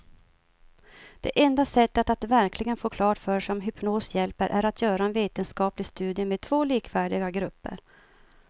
Det enda sättet att verkligen få klart för sig om hypnos hjälper är att göra en vetenskaplig studie med två likvärdiga grupper.